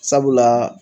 Sabula